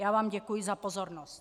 Já vám děkuji za pozornost.